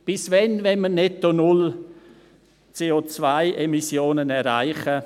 Bis wann wollen wir netto null CO-Emmissionen erreichen?